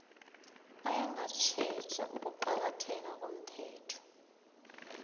ayengatjheja ukuqakatheka komthetho